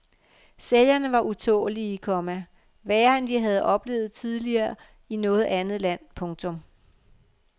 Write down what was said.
Sælgerne var utålelige, komma værre end vi havde oplevet tidligere i noget andet land. punktum